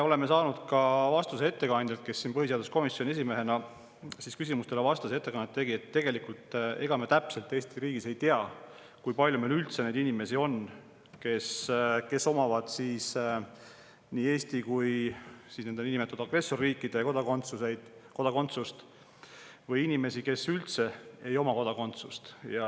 Me saime vastuse ka ettekandjalt, kes siin põhiseaduskomisjoni esimehena küsimustele vastas ja ettekannet tegi, et ega me tegelikult Eesti riigis täpselt ei tea, kui palju meil üldse on neid inimesi, kes omavad nii Eesti kui ka nende niinimetatud agressorriikide kodakondsust, või inimesi, kes üldse ei oma kodakondsust.